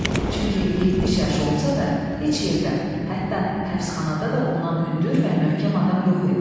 Çünki 70 yaşı olsa da heç yerdə, hətta həbsxanada da ondan hündür və möhkəm adam yox idi.